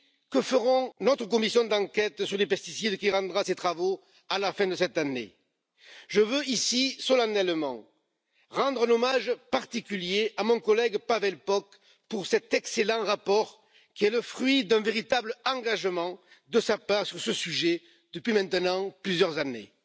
que notre commission d'enquête sur les pesticides, qui rendra ses travaux à la fin de cette année, en fera autant. Je veux ici solennellement rendre un hommage particulier à mon collègue Pavel Poc pour cet excellent rapport qui est le fruit d'un véritable engagement de sa part sur ce sujet depuis maintenant plusieurs années.